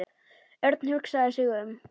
Örn hugsaði sig um.